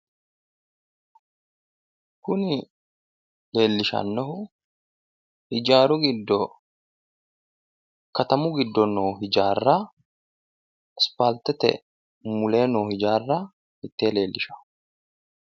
Kuni leellishannohu ijaaru giddo katamu giddo noo hijaarra asipaaltete muleenni noo hijaarra mitee leellishanno.